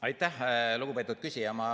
Aitäh, lugupeetud küsija!